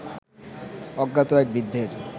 অজ্ঞাত এক বৃদ্ধের